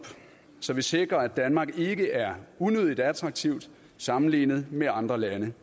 så vi sikrer at danmark ikke er unødig attraktivt sammenlignet med andre lande